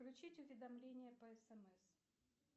включить уведомления по смс